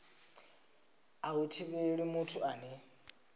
a hu thivheli muthu ane